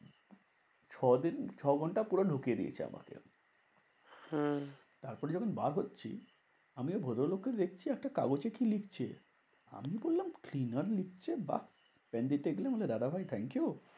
ছ দিন ছ ঘন্টা পুরো ঢুকিয়ে দিয়েছে আমাকে। হম তারপরে যখন বার হচ্ছি, আমি ওই ভদ্রলোক কে দেখছি একটা কাগজে কি লিখছে? আমি বললাম cleaner লিখছে বাহ্ পেন দিতে গেলাম দাদাভাই thank you.